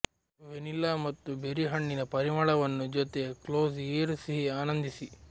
vanilla ಮತ್ತು ಬೆರಿಹಣ್ಣಿನ ಪರಿಮಳವನ್ನು ಜೊತೆ ಕ್ಲೋಸ್ ಏರ್ ಸಿಹಿ ಆನಂದಿಸಿ